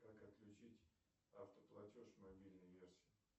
как отключить автоплатеж в мобильной версии